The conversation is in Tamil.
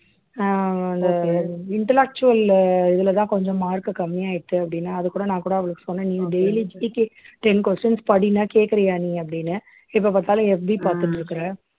அஹ் அந்த intellectual இதுலதான் கொஞ்சம் mark கம்மியாயிடுத்து அப்படின்னா அதுகூட நான் கூட அவளுக்கு சொன்னே நீ dailyGKten questions படின்னா கேக்குறியா நீ அப்படின்னு எப்ப பார்த்தாலும் FB பார்த்துட்டு இருக்குற